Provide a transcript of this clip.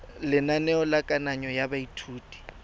lenaneo la kananyo ya baithuti